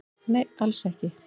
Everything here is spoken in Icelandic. Nei, alls ekki